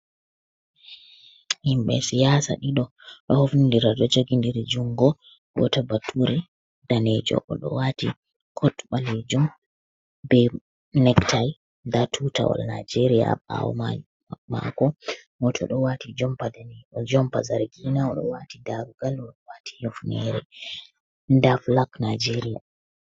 Himɓe siyasa ɗiɗo ɗo hofnidira ɗo jogi ndiri jungo, gato bature danejo oɗo wati kot ɓalejum be nek tayi, nda tutawal nijeria ɓawo mai mako goto ɗo wati jompa be jompa zargina oɗo wati darogal oɗo wati yufnere nada fulak Najeriya.